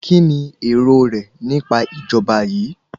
Kíni èrò rẹ nípa ìjọba yìí?